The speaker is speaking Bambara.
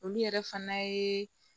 Olu yɛrɛ fana ye